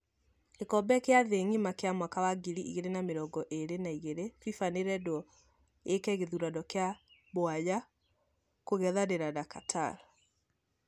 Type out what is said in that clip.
Gĩkombe kĩa thĩ ngima kĩa mwaka wa ngiri igĩrĩ na mirongo ĩrĩ na igĩrĩ, Fifa nĩredo yĩke gĩthurano kĩa mwanya kũngethanĩra na Qatar.